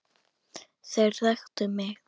Þeir þekktu mig.